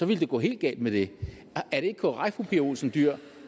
ville det gå helt galt med det er det ikke korrekt er olsen dyhr